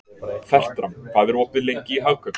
Fertram, hvað er opið lengi í Hagkaup?